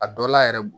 A dɔ la yɛrɛ